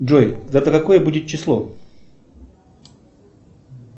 джой завтра какое будет число